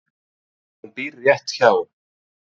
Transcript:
Hún býr rétt hjá.